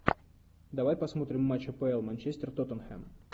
давай посмотрим матч апл манчестер тоттенхэм